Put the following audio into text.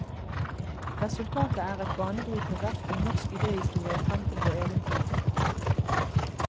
Resultatet er et banebrytende verk om norsk idéhistorie frem til vår egen tid.